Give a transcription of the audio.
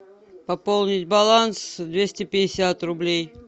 пополнить баланс двести пятьдесят рублей